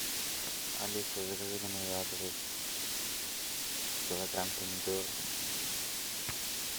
алиса закажи на мой адрес килограмм помидор